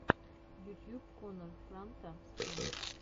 ютьюб коннор франта стрим